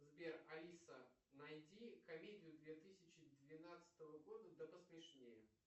сбер алиса найди комедию две тысячи двенадцатого года да посмешнее